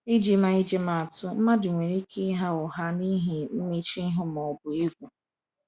iji ma iji ma atụ, mmadụ nwere ike ịgha ụgha n’ihi mmechuihu ma ọ bụ egwu.